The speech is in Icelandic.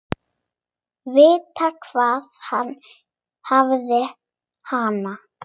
Vita hvar hann hefði hana.